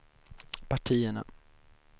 partierna